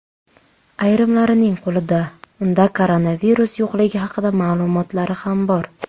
Ayrimlarining qo‘lida unda koronavirus yo‘qligi haqida ma’lumotlari ham bor.